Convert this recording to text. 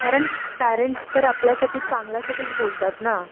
कारण पेरेंट्स तर आपल्यासाठी चांगल्यासाठीच बोलतात ना.